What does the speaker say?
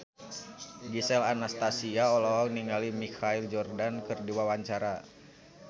Gisel Anastasia olohok ningali Michael Jordan keur diwawancara